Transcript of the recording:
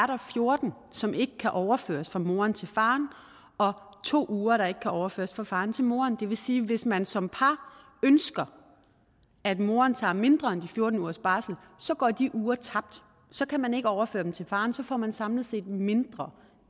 der fjorten som ikke kan overføres fra moren til faren og to uger der ikke kan overføres fra faren til moren det vil sige at hvis man som par ønsker at moren tager mindre end de fjorten ugers barsel så går de uger tabt så kan man ikke overføre dem til faren så får man samlet set mindre